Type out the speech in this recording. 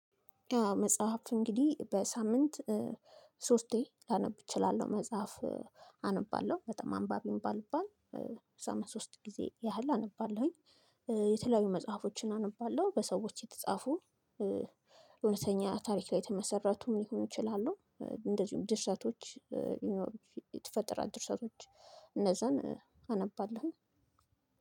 መጽሐፍ እንግዲህ በሳምንት ሶስቴ ላነብ እችላለሁ። መጽሐፍ አነባለሁ በጣም አንባቢውን ባልባል። በሳምንት ሶስት ጊዜ ያህል አነባለሁኝ። የተለያዩ መጽሐፎችን አነባለሁ። በሰዎች የተጻፉ እውነተኛ ታሪክ ላይ የተመሰረቱ ሊሆኑ ይችላሉ። እንደዚሁም ድርሰቶች ይኖሩኝ ይፈጥራል። ድርሰቶች እነዛን አነባለሁ።